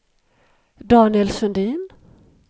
Daniel Sundin